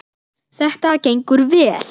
Þetta gengur vel.